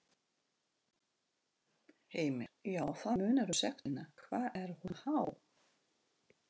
Heimir: Já, það munar um sektina, hvað er hún há?